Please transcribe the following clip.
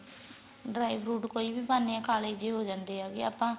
dry fruit ਕੋਈ ਪਾਨੇ ਆ ਕਾਲੇ ਜੇ ਹੋ ਜਾਂਦੇ ਏ ਵੀ ਆਪਾਂ